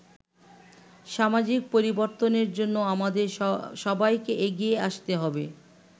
সামাজিক পরিবর্তনের জন্য আমাদের সবাইকেই এগিয়ে আসতে হবে”।